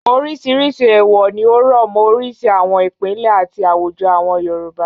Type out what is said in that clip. Oríṣiríṣi èèwọ̀ ni ó rọ̀ mọ́ oríṣi àwọn ìpínlẹ̀ àti àwùjọ àwọn Yorùbá.